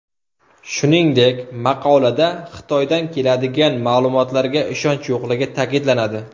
Shuningdek, maqolada Xitoydan keladigan ma’lumotlarga ishonch yo‘qligi ta’kidlanadi.